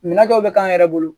Minɛn dɔw bɛ k'an yɛrɛ bolo